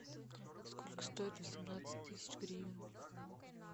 сколько стоит восемнадцать тысяч гривен